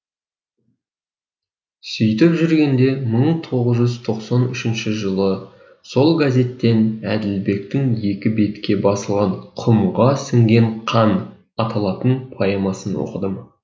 сөйтіп жүргенде мың тоғыз жүз тоқсан үшінші жылы сол газеттен әділбектің екі бетке басылған құмға сіңген қан аталатын поэмасын оқыдым